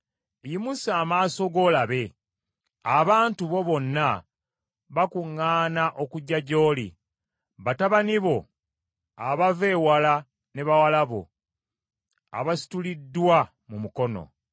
“Yimusa amaaso go olabe; abantu bo bonna bakuŋŋaana okujja gy’oli batabani bo abava ewala ne bawala bo abasituliddwa mu mikono.